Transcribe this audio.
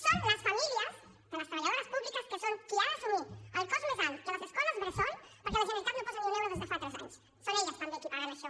són les famílies de les treballadores públiques que són les que han d’assumir el cost més alt de les escoles bressol perquè la generalitat no posa ni un euro des de fa tres anys són elles també les qui paguen això